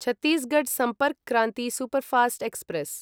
Chhattisgarh Sampark Kranti superfast express